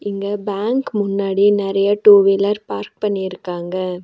இங்க பேங்க் முன்னாடி நெறைய டூ வீலர் பார்க் பண்ணிருக்காங்க.